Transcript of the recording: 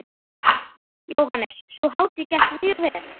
Jóhannes: Sú hátíð gekk mjög vel?